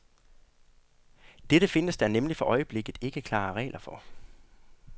Dette findes der nemlig for øjeblikket ikke klare regler for.